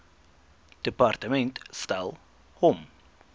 departement stel hom